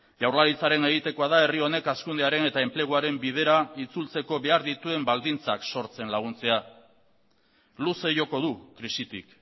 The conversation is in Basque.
jaurlaritzaren egitekoa da herri honek hazkundearen eta enpleguaren bidera itzultzeko behar dituen baldintzak sortzen laguntzea luze joko du krisitik